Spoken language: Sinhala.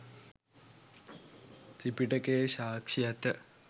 ත්‍රිපිටකයේ සාක්ෂි ඇත